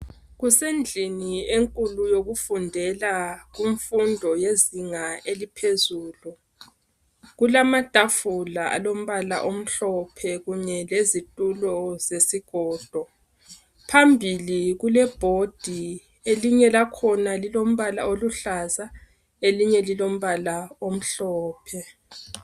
kusendlini enkulu yokufundela kumfundo yezinga eliphezulu kulamatafula alombala omhlophe kunye lezitulo zesigodo phambili kule bhodi elinye lakhona lilombala oluhlaza elinye lilombala omhlophe